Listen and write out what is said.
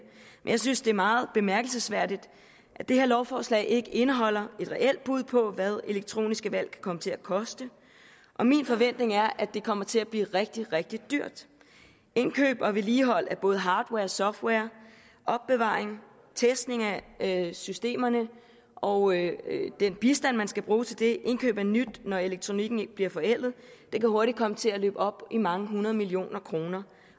jeg synes det er meget bemærkelsesværdigt at det her lovforslag ikke indeholder et reelt bud på hvad elektroniske valg kan komme til at koste og min forventning er at det kommer til at blive rigtig rigtig dyrt indkøb og vedligehold af både hardware og software opbevaring testning af systemerne og den bistand man skal bruge til det indkøb af nyt når elektronikken bliver forældet det kan hurtigt komme til at løbe op i mange hundrede millioner kroner